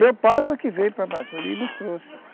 Meu pai foi que veio para Amazônia e nos trouxe.